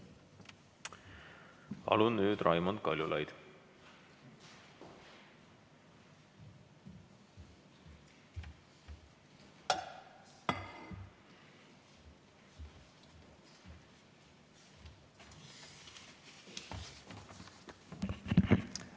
Palun, Raimond Kaljulaid!